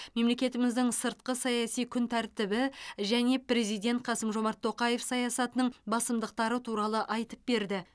мемлекетіміздің сыртқы саяси күн тәртібі және президент қасым жомарт тоқаев саясатының басымдықтары туралы айтып берді